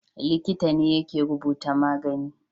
Likita ne yake rubuta magani